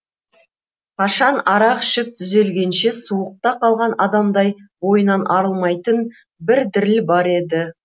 қашан арақ ішіп түзелгенше суықта қалған адамдай бойынан арылмайтын бір діріл бар еді